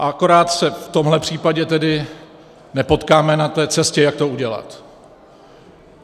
A akorát se v tomhle případě tedy nepotkáme na té cestě, jak to udělat.